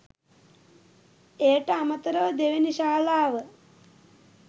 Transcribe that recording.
එයට අමතරව දෙවැනි ශාලාව